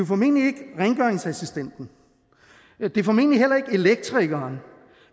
formentlig ikke rengøringsassistenten det er formentlig heller ikke elektrikeren